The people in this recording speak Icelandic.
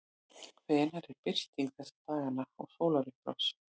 hvenær er birting þessa dagana og sólarupprás